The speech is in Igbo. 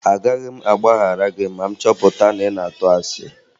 Agaghị m agbaghara gị ma m chọpụta na ị na-atụ asị